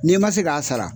N'i ma se k'a sara